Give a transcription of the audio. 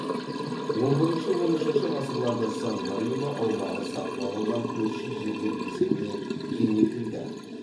он бірінші он үшінші ғасырларда сан марино аумағы сатып алынған көрші жерлер есебінен кеңейтілді